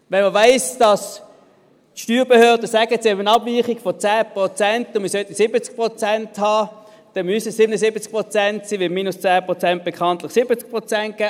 Wenn man weiss, dass die Steuerbehörden sagen, dass wir eine Abweichung von 10 Prozent haben, wir aber 70 Prozent haben sollten, dann müssen es 77 Prozent sein, weil minus 10 Prozent bekanntlich 70 Prozent geben.